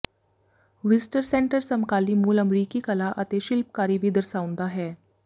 visitor centre ਸਮਕਾਲੀ ਮੂਲ ਅਮਰੀਕੀ ਕਲਾ ਅਤੇ ਸ਼ਿਲਪਕਾਰੀ ਵੀ ਦਰਸਾਉਂਦਾ ਹੈ